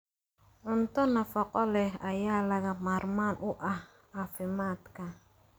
Cunto nafaqo leh ayaa lagama maarmaan u ah caafimaadka.